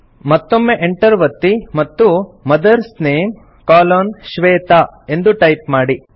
ಮತ್ತೊಮ್ಮೆ Enter ಒತ್ತಿ ಮತ್ತು ಮದರ್ಸ್ ನೇಮ್ ಕೊಲೊನ್ ಶ್ವೇತಾ ಎಂದು ಟೈಪ್ ಮಾಡಿ